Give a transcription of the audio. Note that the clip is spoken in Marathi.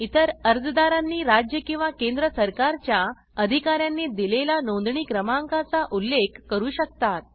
इतर अर्जदारांनी राज्य किंवा केंद्र सरकारच्या अधिकार्यांनी दिलेला नोंदणी क्रमांकका चा उल्लेख करू शकतात